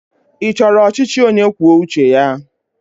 Ị chọrọ ọchịchị onyekwuoucheya?